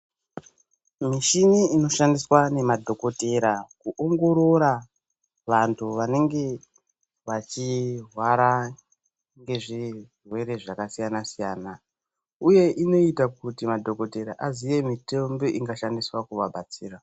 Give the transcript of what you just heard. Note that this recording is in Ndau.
Michini inoshandiswa nemadhokodhera kuongorora vantu vanenge vachirwara nezvirwere zvakasiyana siyana uye inoita kuti madhokotera aziye mitombo ingashandiswa kuvabatsira.